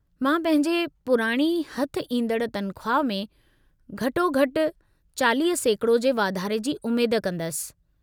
मां पंहिंजे पुराणी हथ ईंदड़ु तनख़्वाह में घटो-घटि 40% जे वाधारे जी उमेदु कंदसि।